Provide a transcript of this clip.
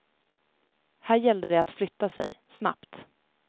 Här gällde det att flytta sig, snabbt.